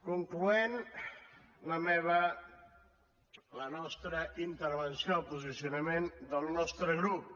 concloent la nostra intervenció el posicionament del nostre grup